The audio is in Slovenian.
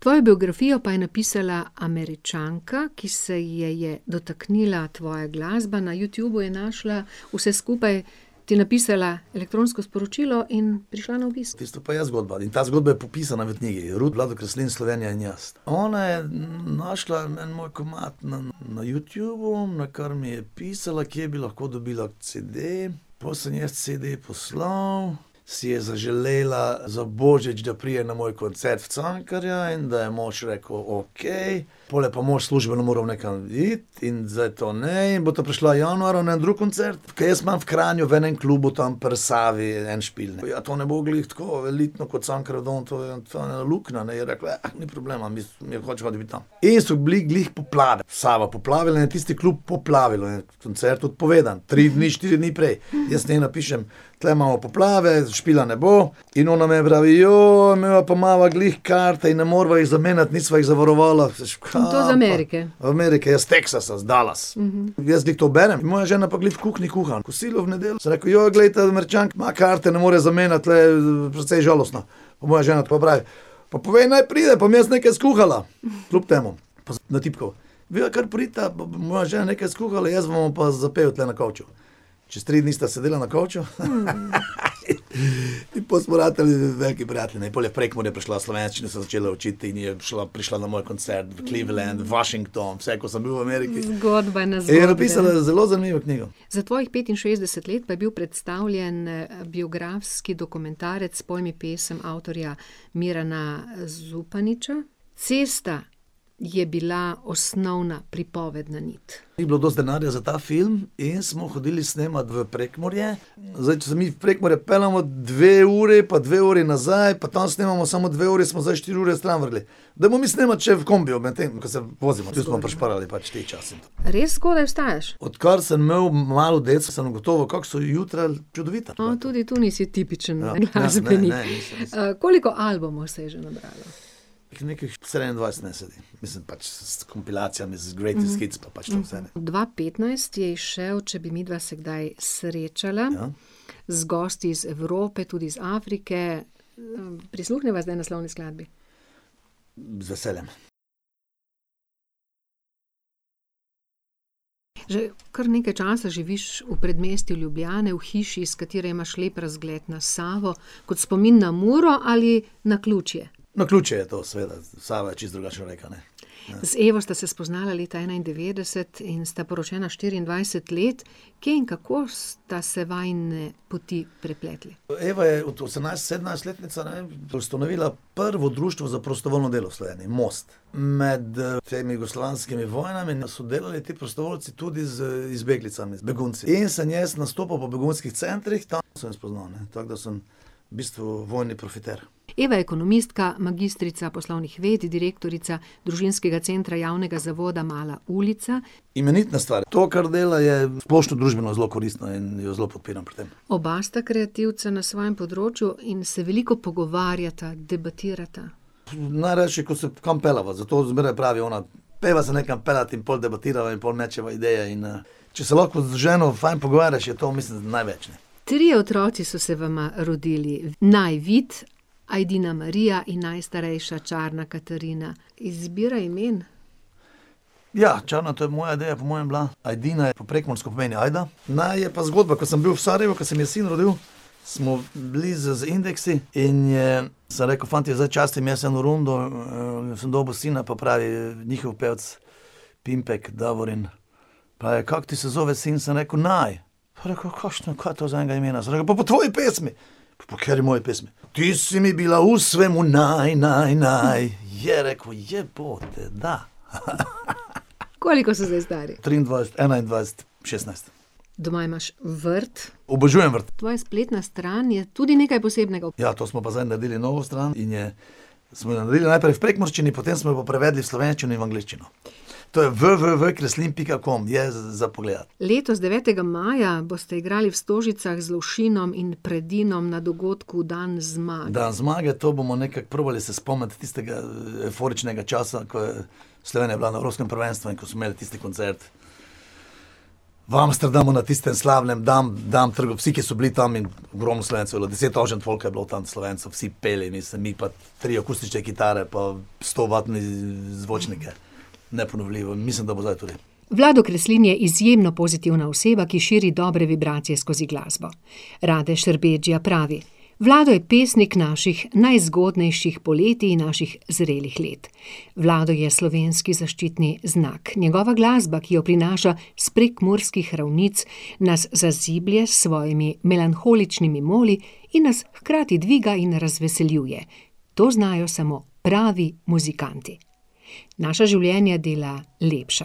Tvojo biografijo pa je napisala Američanka, ki se je je dotaknila tvoja glasba, na Youtubu je našla vse skupaj, ti napisala elektronsko sporočilo in prišla na obisk. Tisto pa je zgodba, ali ta zgodba je popisana v knjigi. Ruth, Vlado Kreslin, Slovenija in jaz. Ona je našla en moj komad na, na Youtubu, nakar mi je pisala, kje bi lahko dobila CD, pol sem ji jaz CD poslal, si je zaželela za božič, da pride na moj koncert v Cankarja, in da je mož rekel, okej, pol je mož službeno moral nekam iti, in zdaj to ne, bosta prišla januarja na en drug koncert, ker jaz imam v Kranju v enem klubu tam pri Savi en špil, ne. Ja, to ne bo glih tako elitno kot Cankarjev dom, to je, to je ena luknja, ne, je rekla: ni problema, midva hočeva biti tam." In so bili glih poplave, Sava poplavila in tisti klub poplavila. Koncert odpovedan, tri, štiri dni prej. Jaz njej napišem: "Tule imamo poplave, špila ne bo." In ona meni pravi: midva pa imava glih karte in ne moreva jih zamenjati, nisva jih zavarovala." In to iz Amerike. Amerike, ja, iz Teksasa, iz Dallasa, in jaz glih to berem, moja žena pa glih v kuhinji kuha kosilo v nedeljo, sem rekel: glej, ta Američanka, karte ne more zamenjati, to je precej žalostno." Pa moja žena tako pravi: "Pa povej, naj pride pa bom jaz nekaj skuhala." Kljub temu. Pa sem natipkal: "Vidva kar pridita pa bo moja žena nekj skuhala, jaz vama bom pa zapel tule na kavču." Čez tri dni sta sedela na kavču, in pol smo ratali veliki prijatelji, ne. In pol je v Prekmurje prišla, slovenščino se začela učiti, in je prišla, prišla na moj koncert. Cleveland, Washington, vse, ko sem bil v Ameriki. Zgodba na In je napisala zelo zanimivo knjigo. Za tvojih petinšestdeset pa je bil predstavljen, biografski dokumentarec Poj mi pesem avtorja Mirana Zupaniča. Cesta je bila osnovna pripovedna nit. Ni bilo dosti denarja za ta film in smo hodili snemat v Prekmurje. Zdaj če se mi v Prekmurje peljemo dve uri pa dve uri nazaj pa tam snemamo samo dve uri, smo zdaj štiri ure stran vrgli. Daj pomislimo, če v kombiju, medtem ko se vozimo, potem smo prišparali par dni časa. Res zgodaj vstajaš. Odkar sem imel malo deco, sem ugotovil, kako so jutra čudovita. No, tudi to nisi tipičen glasbenik. Ne, ne, ne. koliko albumov se je že nabralo? Nekih štiriindvajset, meni se zdi. In sem pač s kompilacijami z greatest hits imel pač to vse. Dva petnajst je izšel Če bi midva se kdaj srečala, z gosti iz Evrope, tudi iz Afrike, prisluhniva zdaj naslovni skladbi. Z veseljem. Že kar nekaj časa živiš v predmestju Ljubljane, v hiši, s katere imaš lep razgled na Savo. Kot spomin na Muro ali naključje? Naključje je to, seveda. Sava je čisto drugačna reka, ne. Z Evo sta se spoznala leta enaindevetdeset in sta poročena štiriindvajset let, kje in kako sta se vajine poti prepletli? Eva je osemnajst, sedemnajstletnica, ne, ustanovila prvo društvo za prostovoljno delo v Sloveniji, Most. Med temi jugoslovanskimi vojnami, no, so delali ti prostovoljci tudi z izbeglicami, z begunci. In sem jaz nastopal v Vodovodskih centrih, tam sem jo spoznal, ne. Tako da sem v bistvu vojni profiter. Eva je ekonomistka, magistrica poslovnih ved, direktorica družinskega centra, Javnega zavoda Mala ulica. Imenitna stvar, to, kar dela je splošno družbeno zelo koristno in jo zelo podpiram pri tem. Oba sta kreativca na svojem področju in se veliko pogovarjata, debatirata. Najrajši, ko se kam peljeva. Zato zmeraj pravi ona: "Pojdiva se nekam peljati." In pol debatirava in pol mečeva ideje in, če se lahko z ženo fajn pogovarjaš, je to, mislim, največ, ne. Trije otroci so se vama rodili. Naj Vid, Ajdina Marija in najstarejša Čarna Katarina. Izbira imen? Ja, Čarna, to je moja ideja po mojem bila, Ajdina je po prekmursko, pomeni Ajde, Naj je pa zgodba, ke sem bil v Sarajevu, ke se mi je sin rodil, smo bili z, z Indeksi in je ... Sem rekel: "Fantje, zdaj častim jaz eno rundo, sem dobil sina." Pa pravi njihov pevec, Pimpek Davorin: "Pa kako ti se zove sin?" Sem rekel: "Naj." Je rekel: "Kakšno, kaj je to za enega imena?" Sem rekel: "Pa po tvoji pesmi!" "Po kateri moji pesmi?" "Ti si mi bila v svemu naj, naj, naj ..." Je rekel: "Jebote, da." Koliko so zdaj stari? Triindvajset, enaindvajset, šestnajst. Doma imaš vrt. Obožujem vrt. Tvoja spletna stran je tudi nekaj posebnega. Ja, to smo pa zdaj naredili novo stran in je ... Smo jo naredili najprej v prekmurščini, potem smo jo pa prevedli v slovenščino in angleščino. To je www kreslin pika com. Je za pogledati. Letos, devetega maja, boste igrali v Stožicah z Lovšinom in Predinom na dogodku Dan zmage. Dan zmage, to bomo nekaj probali se spomniti tistega evforičnega časa, ko je Slovenija bila na evropskem prvenstvu in ko smo imeli tisti koncert. V Amsterdamu, na tistem slavnem dnevu, dan ter vsi, ki so bili tam in , deset tavžent folka je bilo tam Slovencev, vsi peli, mislim, mi pa tri akustične kitare pa stovatne zvočnike. Neponovljivo, mislim, da bo zdaj tudi. Vlado Kreslin je izjemno pozitivna oseba, ki širi dobre vibracije skozi glasbo. Rade Šerbedžija pravi: "Vlado je pesnik naših najzgodnejših poletij in naših zrelih let." Vlado je slovenski zaščitni znak. Njegova glasba, ki jo prinaša s prekmurskih ravnic, nas zaziblje s svojimi melanholičnimi moli in nas hkrati dviga in razveseljuje. To znajo samo pravi muzikanti. Naša življenja dela lepša.